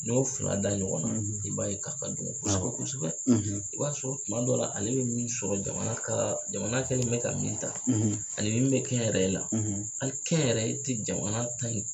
N'i y'o fila da ɲɔgɔn na, , i b'a ye k'a ka dɔgɔ, awɔ, kosɛbɛ kosɛbɛ. . I b'a sɔrɔ tuma dɔ la , ale bɛ min sɔrɔ jamana ka jamana kɛlen bɛ ka min ta, , ani min bɛ kɛnyɛrɛye la ,, hali kɛnyɛrɛye tɛ jamana ta in